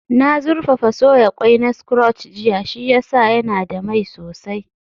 Na zurfafa soya ƙwai na scotch jiya, shi ya sa yana da mai sosai